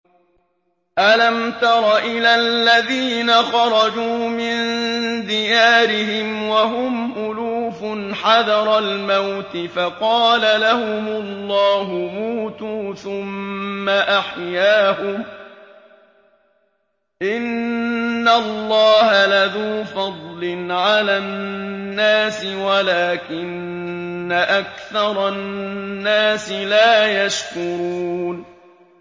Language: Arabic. ۞ أَلَمْ تَرَ إِلَى الَّذِينَ خَرَجُوا مِن دِيَارِهِمْ وَهُمْ أُلُوفٌ حَذَرَ الْمَوْتِ فَقَالَ لَهُمُ اللَّهُ مُوتُوا ثُمَّ أَحْيَاهُمْ ۚ إِنَّ اللَّهَ لَذُو فَضْلٍ عَلَى النَّاسِ وَلَٰكِنَّ أَكْثَرَ النَّاسِ لَا يَشْكُرُونَ